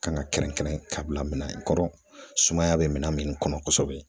Kan ka kɛrɛnkɛrɛn ka bila minan kɔnɔ, sumaya bɛ minan min kɔnɔ kosɛbɛ